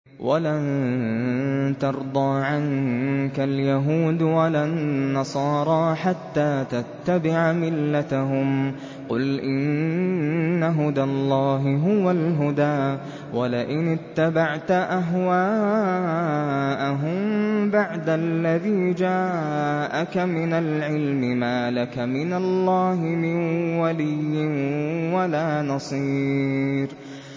وَلَن تَرْضَىٰ عَنكَ الْيَهُودُ وَلَا النَّصَارَىٰ حَتَّىٰ تَتَّبِعَ مِلَّتَهُمْ ۗ قُلْ إِنَّ هُدَى اللَّهِ هُوَ الْهُدَىٰ ۗ وَلَئِنِ اتَّبَعْتَ أَهْوَاءَهُم بَعْدَ الَّذِي جَاءَكَ مِنَ الْعِلْمِ ۙ مَا لَكَ مِنَ اللَّهِ مِن وَلِيٍّ وَلَا نَصِيرٍ